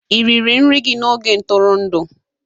Ị riri nri gị n'oge ntụrụndụ?